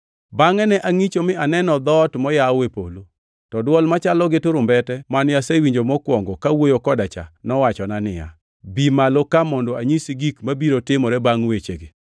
Bangʼe ne angʼicho mi aneno dhoot moyaw e polo. To dwol machalo gi turumbete mane asewinjo mokwongo kawuoyo koda cha nowachona niya, “Bi malo ka mondo anyisi gik mabiro timore bangʼ wechegi.”